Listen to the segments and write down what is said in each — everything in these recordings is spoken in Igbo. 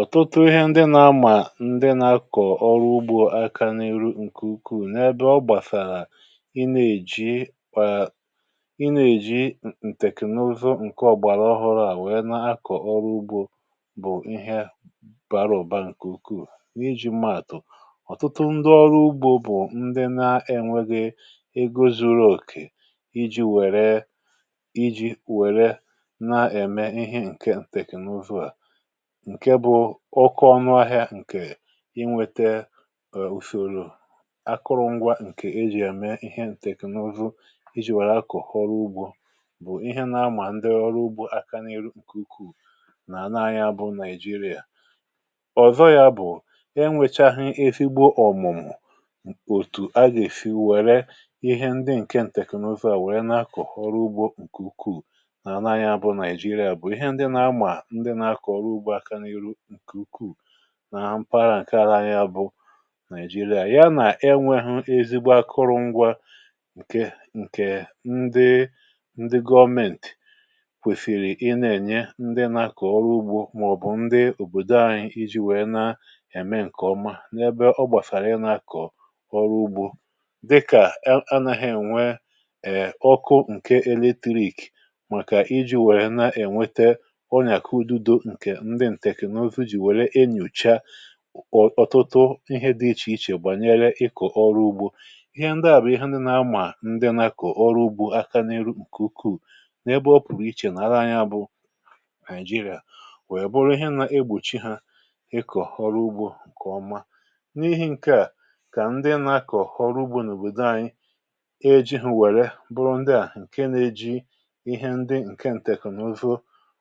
Ọ̀tụtụ ihe ndị nà-àmà ndị nà-akọ̀ ọrụ ugbȯ aka n’ihu ǹkè ukwuù, n’ebe ọ gbàsàrà. Ị nà-èji, um ị nà-èji ǹtèkènụzụ ǹke ọ̀gbàrà ọhụrụ̇ à nwèe, na-akọ̀ ọrụ ugbȯ bụ̀ ihe dị̀ mkpa n’ịhà bara òba ǹkè ukwuù n’iji̇ mmà àtụ̀. Ọ̀tụtụ ndị ọrụ ugbȯ bụ̀ ndị na-enwėghi ego zuru òkè iji̇ wère, iji̇ wère, na-ème ihe ǹkè ǹtèkènụzụ à, ǹke bụ ọkụ ọnụ ahịa. Ǹkè inwėtė òsiòrò akụrụ̇ ngwa ǹkè e jì àme ihe ǹtèknụzụ e jì wère akụ̀họrọ ugbȯ bụ̀ ihe nà-amà ndị ọrụ ugbȯ aka n’ihu ǹkè ukwuù nà anaa anyị abụọ nà Naịjìrìà. Ọ̀zọ̀ ya bụ̀, um enwèchaghị efigbo ọ̀mùmù òtù agèfì wère ihe ndị ǹke ǹtèknụzụ à wèe n'akọ̀ ọrụ ugbȯ ǹkè ukwuù nà anaa anyị abụọ nà Naịjìrìà bụ̀ ihe ndị nà-amà ndị nà-akọ̀ ọrụ ugbȯ na mkpa agha ǹkè à rà anya bụ Naị̀jìrìà. Yà nà enwėhụ̇ ezigbo akụrụ̇ ngwa, ǹkè ǹkè ndị gọọmentì kwèfèrè ị na-ènye ndị nà-akọ̀ ọrụ̇ ugbȯ màọ̀bụ̀ ndị òbòdo ȧhụ̇ iji̇ wèe na-ème ǹkè ọma, n’ebe ọ gbàsàrà. um Ị na-akọ̀ ọrụ̇ ugbȯ dịkà anaghị̇ ènwee ọkụ ǹke eletirik, màkà iji̇ wèe na-ènwete ọnyàkọ ududo. Ọ̀tụtụ ihe dị ichè ichè gbànyere ịkọ̀ ọrụ ugbȯ bụ̀ ihe ndị à nà-amà ndị nà-akọ̀ ọrụ ugbȯ aka n’ihu ǹkè ukwuù n’ebe ọ pụ̀rụ̀ ichè nà ara anyȧ bụ Naị̀jìrìà, wèe bụrụ ihe nà-egbòchi hȧ ịkọ̀ ọrụ ugbȯ ǹkè ọma. N’ihi̇ ǹkè à, kà ndị nà-akọ̀ ọrụ ugbȯ n’òbòdò anyị e jiri hȧ wère bụrụ ndị à, ǹke nà-eji ihe ndị ǹke ǹtèkènụzụ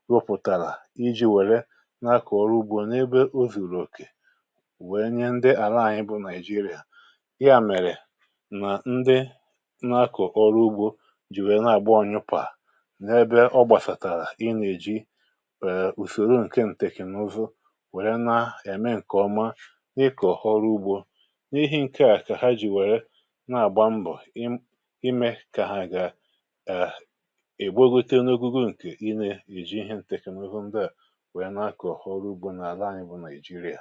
rụpụ̀tàrà, wèe nye um ndị àla anyị bụ Naịjìrìà ihe à. Mèrè nà ndị nà-akọ̀ ọrụ ugbȯ jì nwèe nà-àgba onyụpà, n’ebe ọ gbàsàrà, ị nà-èji wèe ùsòro ǹke ǹtèkènụ̀zụ wèe na-ème ǹkè ọma. Ị kà ọ̀họrọ ugbȯ n’ihe ǹkè à, kà ha jì wèe na-àgba mbọ̀, ime kà ha gà ègbe ogete n’ogugo ǹkè i ne-èji ihė ǹtèkènụ̀ ugbȯ. um Ǹkà i gà-ẹ̀mẹ̀lẹ̀ mẹlẹ̀lẹ̀kwà, èkpòl, èkpòl, èkpòl, èkpòl — ẹ̀mẹ̀lẹ̀kwà mẹlẹ̀lẹ̀kwà mẹlẹ̀lẹ̀kwà.